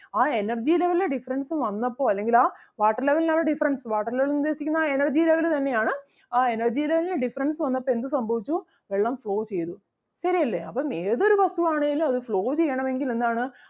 ആ energy level ല് difference വന്നപ്പോ അല്ലെങ്കിൽ ആ water level ന് ഒരു difference water level എന്ന് ഉദ്ദേശിക്കുന്നത് ആ energy level തന്നെ ആണ്. ആ energy level ന് difference വന്നപ്പോ എന്ത് സംഭവിച്ചു വെള്ളം flow ചെയ്തു. ശെരിയല്ലേ അപ്പം ഏതൊരു വസ്‌തു ആണേലും അത് flow ചെയ്യണമെങ്കിൽ എന്താണ്